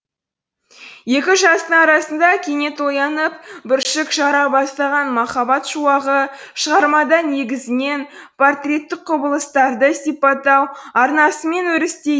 екі жастың арасында кенет оянып бүршік жара бастаған махаббат шуағы шығармада негізінен портреттік құбылыстарды сипаттау арнасымен өрістейді